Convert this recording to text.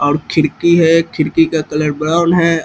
और खिड़की है खिड़की का कलर ब्राउन है।